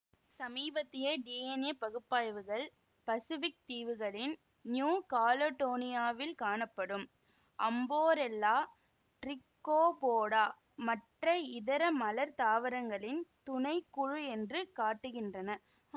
சமீபத்திய டிஎன்ஏ பகுப்பாய்வுகள் பசிபிக் தீவுகளின் நியூ காலடோனியாவில் காணப்படும் அம்போரெல்லா டிரிக்கோபோடா மற்ற இதர மலர் தாவரங்களின் துணை குழு என்று காட்டுகின்றன